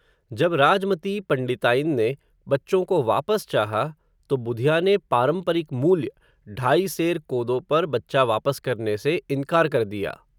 जब राज मती पंडिताइन ने, बच्चों को वापस चाहा, तो बुधिया ने, पारम्परिक मूल्य, ढाई सेर कोदो पर बच्चा वापस करने से इन्कार कर दिया